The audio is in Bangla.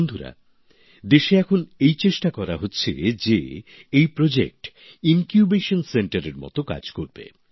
বন্ধুরা দেশে এখন এই চেষ্টা করা হচ্ছে যে এটা প্রজেক্ট ইনকিউবেশন সেন্টারএর মত কাজ করবে